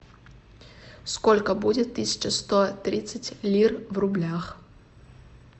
сколько будет тысяча сто тридцать лир в рублях